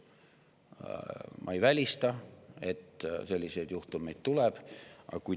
Aga ma ei välista, et selliseid juhtumeid tuleb.